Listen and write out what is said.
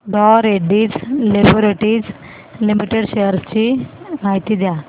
डॉ Reddy's laboratories limited shares ची माहिती द्या